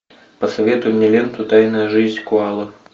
посоветуй мне ленту тайная жизнь коалы